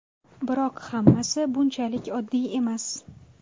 Biroq hammasi bunchalik oddiy emas.